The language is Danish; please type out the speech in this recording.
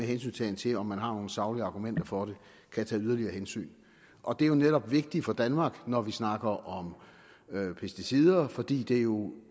hensyntagen til at man har nogle saglige argumenter for det kan tage yderligere hensyn og det er netop vigtigt for danmark når vi snakker om pesticider fordi det jo